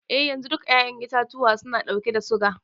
Eh yanzu, duka 'ya'yan itatuwa suna ɗauke da suga.